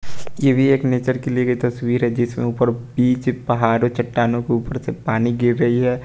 ये भी एक नेचर की ली गई तस्वीर है जिसमें ऊपर बीच पहाड़ों चट्टानों के उपर से पानी गिर रही है।